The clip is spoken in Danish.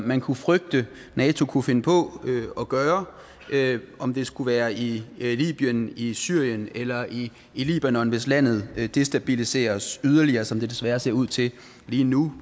man kunne frygte at nato kunne finde på at gøre om det skulle være i libyen i syrien eller i libanon hvis landet destabiliseres yderligere som det desværre ser ud til lige nu